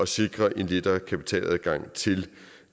sikre en lettere kapitaladgang til